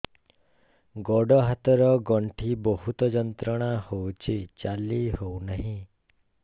ଗୋଡ଼ ହାତ ର ଗଣ୍ଠି ବହୁତ ଯନ୍ତ୍ରଣା ହଉଛି ଚାଲି ହଉନାହିଁ